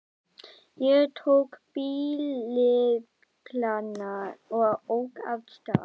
Ég tók bíllyklana og ók af stað.